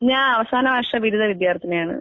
ഞാൻ അവസാന വർഷ ബിരുദ വിദ്യാർത്ഥിനിയാണ്.